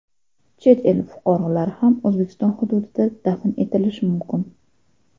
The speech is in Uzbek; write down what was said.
Chet el fuqarolari ham O‘zbekiston hududida dafn etilishi mumkin.